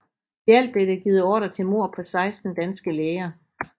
I alt blev der givet ordrer til mord på 16 danske læger